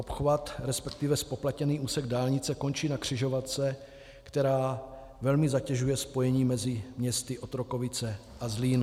Obchvat, respektive zpoplatněný úsek dálnice, končí na křižovatce, která velmi zatěžuje spojení mezi městy Otrokovice a Zlín.